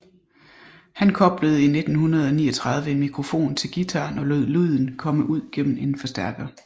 Han koblede i 1939 en mikrofon til guitaren og lod lyden komme ud igennem en forstærker